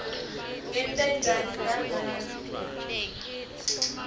ngente njani nangabe